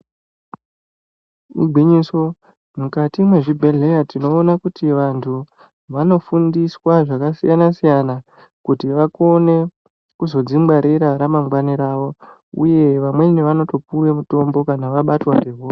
Igwinyiso mukati mezvibhedhlya tinoona kuti vantu vanofundiswa zvakasiyana-siyana. Kuti vakone kuzodzingwarira mune ramangwani ravo, uye vamweni vanotopuva mutombo kana vabatwa ngehosha.